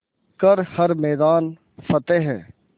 कर हर मैदान फ़तेह